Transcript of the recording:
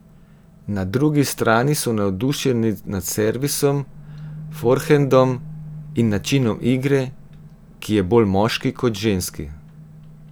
Na drugi strani so navdušeni nad servisom, forhendom in načinom igre, ki je bolj moški kot ženski.